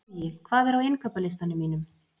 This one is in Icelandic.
Bogi, hvað er á innkaupalistanum mínum?